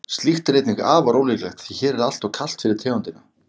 slíkt er einnig afar ólíklegt því hér er alltof kalt fyrir tegundina